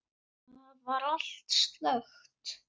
Þar var allt slökkt.